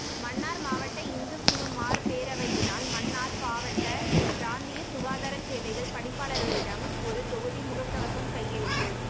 மன்னார் மாவட்ட இந்துக் குருமார் பேரவையினால் மன்னார் பாவட்ட பிராந்திய சுகாதார சேவைகள் பணிப்பாளரிடம் ஒரு தொகுதி முகக்கவசம் கையளிப்பு